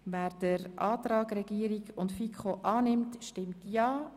Wer den Antrag von Regierung und FiKo annimmt, stimmt Ja.